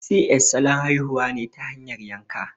Si ƴes' salon haihuwa ne ta hanyar yanka